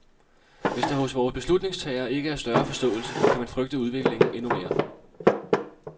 Hvis der hos vore beslutningstagere ikke er større forståelse, kan man frygte udviklingen endnu mere.